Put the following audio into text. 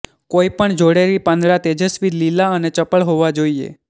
કોઈપણ જોડેલી પાંદડા તેજસ્વી લીલા અને ચપળ હોવા જોઈએ